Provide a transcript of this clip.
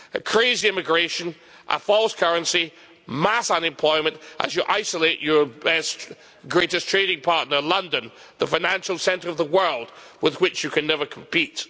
Crazy immigration, a false currency, mass unemployment as you isolate your greatest trading partner, London, the financial centre of the world with which you can never compete.